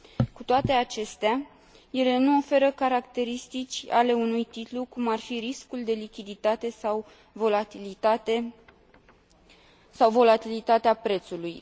Cu toate acestea, ele nu oferă caracteristici ale unui titlu, cum ar fi riscul de lichiditate sau volatilitatea prețului.